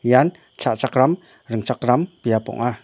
ian cha·chakram ringchakram biap ong·a.